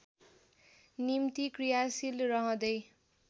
निम्ति क्रियाशील रहँदै